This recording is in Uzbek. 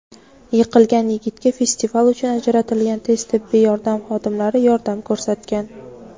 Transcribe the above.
Yiqilgan yigitga festival uchun ajratilgan tez tibbiy yordam xodimlari yordam ko‘rsatgan.